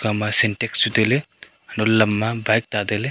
ekha ma sentak chu tai ley antoh ley lam ma bike ta tai ley.